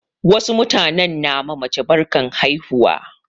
Wasu mutanen na ma mace barkan haihuwa.